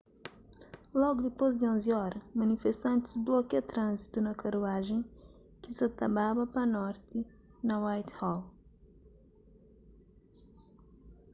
logu dipôs di 11:00 óra manifestantis blokia tránzitu na karuajen ki sa ta baba pa norti na whitehall